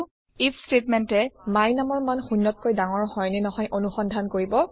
if ষ্টেটমেণ্টে my numৰ মান শূন্যতকৈ০ ডাঙৰ হয় নে নহয় অনুসন্ধান কৰিব